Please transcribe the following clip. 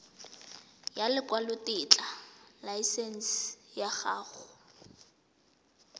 ya lekwalotetla laesense ya go